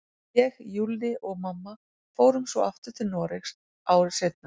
Ég, Júlli og mamma fórum svo aftur til Noregs, ári seinna.